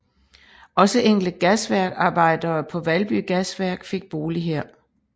Også enkelte gasværksarbejdere på Valby Gasværk fik bolig her